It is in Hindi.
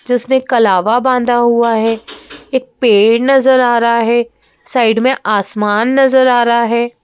जिसने कलावा बांधा हुआ है एक पेड़ नजर आ रहा है साइड में आसमान नजर आ रहा है।